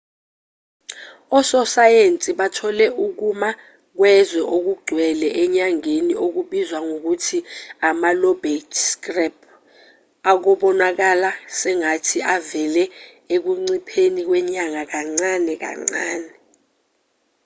ososayensi bathole ukuma kwezwe okugcwele enyangeni okubizwa ngokuthi ama-lobate scarp okubonakala sengathi avele ekuncipheni kwenyanga kancane kancane